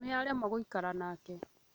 Nĩ aremwo gũikara nake